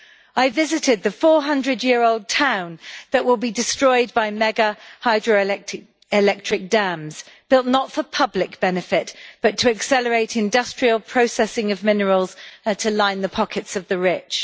I visited the 400 year old town that will be destroyed by mega hydroelectric dams, built not for public benefit but to accelerate industrial processing of minerals to line the pockets of the rich.